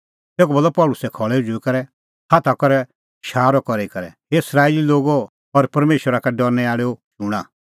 तेखअ बोलअ पल़सी खल़ै उझ़ुई करै हाथा करै शारअ करी करै हे इस्राएली लोगो और परमेशरा का डरनै आल़ैओ शूणां